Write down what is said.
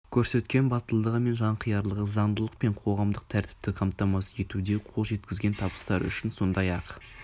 көрсеткен батылдығы мен жанқиярлығы заңдылық пен қоғамдық тәртіпті қамтамасыз етуде қол жеткізген табыстары үшін сондай-ақ